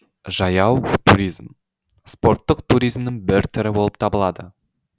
жаяу туризм спорттық туризмнің бір түрі болып табылады